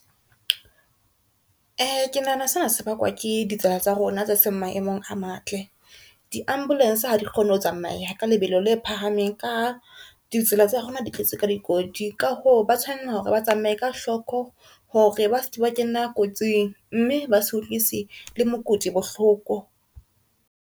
Ke nahana sena se bakwa ke ditsela tsa rona tse seng maemong a matle, di-ambulance ha di kgone ho tsamaya ka lebelo le phahameng ka ha ditsela tsa rona di tletse ka dikoti, ka ho ba tshwanela hore ba tsamaye ka hloko hore ba ske ba kena kotsing mme ba se utlwisi le mokudi bohloko.